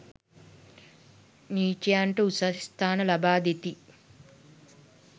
නීචයන්ට උසස් ස්ථාන ලබා දෙති.